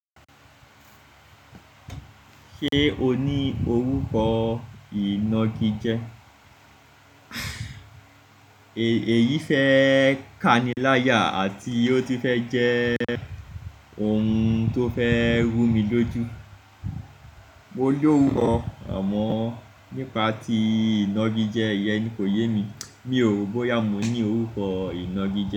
Ṣé o ní orúkọ ìnagijẹ? Èyí fẹ́ kániláyà àti ó ti fẹ́ jẹ́ ohun tó fẹ́ rú mi lójú. Mo lorukọ, àmọ́ nípa tí ìnagijẹ yẹn kò yé mi. Mi ò ro bóyá mo ní orúkọ ìnagijẹ.